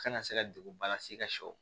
Kana se ka degunba lase i ka sɛw